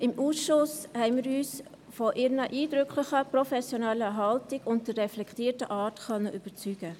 Im Ausschuss konnten wir uns von ihrer eindrücklichen professionellen Haltung und ihrer reflektierten Art überzeugen.